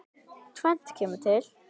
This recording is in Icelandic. Tvennt kemur til.